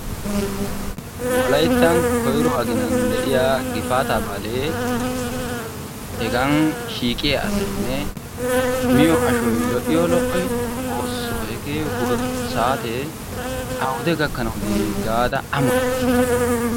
wolayttan koyro aginnan de'iya gifaataa baalee hegan shiiqqiya asay miyo ashoy lo'iyo lo'oy? xoosoo hege saatee awude gakkanawu dii gaada ammotays.